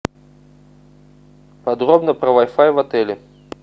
подробно про вай фай в отеле